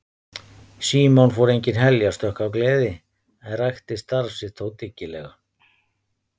Símon fór engin heljarstökk af gleði en rækti starf sitt þó dyggilega.